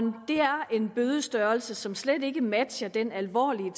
en bødestørrelse som slet ikke matcher den alvorlige